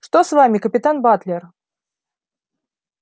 что с вами капитан батлер